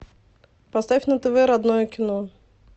поставь на тв родное кино